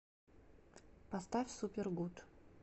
поставь супер гуд